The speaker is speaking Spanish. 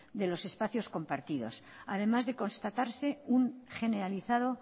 de los espacios compartidos además de constatarse un generalizado